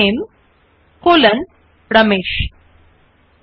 so let us click on the second style under the numbering type style